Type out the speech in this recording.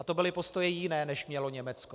A to byly postoje jiné, než mělo Německo.